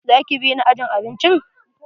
Za ki bi ni ajin abincin?